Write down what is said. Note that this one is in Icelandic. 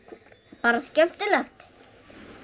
bara skemmtilegt